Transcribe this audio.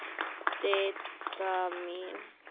Didda mín.